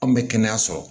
Anw bɛ kɛnɛyaso la